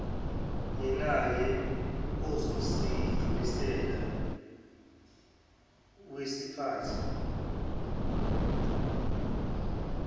yenake ozosedlulisela wkisiphathi